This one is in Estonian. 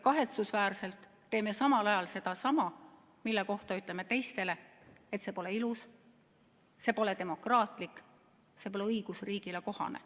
Kahetsusväärselt aga teeme ise samal ajal sedasama, mille kohta ütleme teistele, et see pole ilus, see pole demokraatlik ja see pole õigusriigile kohane.